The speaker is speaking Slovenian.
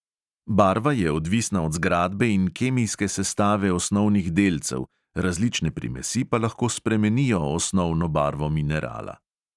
Barva je odvisna od zgradbe in kemijske sestave osnovnih delcev, različne primesi pa lahko spremenijo osnovno barvo minerala.